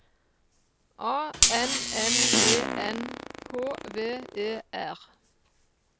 A N N E N H V E R